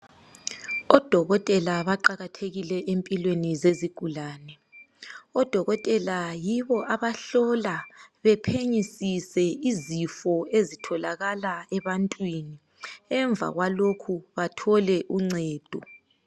Odokotela baqakathekile empilweni zezigulane .Odokotela yibo abahlola bephenyisise izifo ezitholakala ebantwini .Emva kwalokhu bathole uncedo .